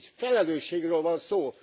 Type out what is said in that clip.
Itt felelősségről van szó!